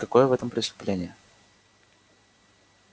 какое в этом преступление